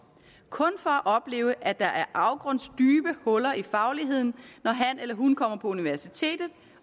kun for at opleve at der er afgrundsdybe huller i fagligheden når han eller hun kommer på universitetet